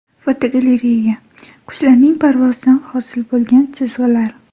Fotogalereya: Qushlarning parvozidan hosil bo‘lgan chizgilar.